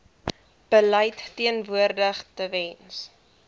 beleid verteenwoordig tewens